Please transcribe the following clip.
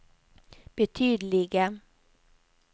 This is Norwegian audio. betydelige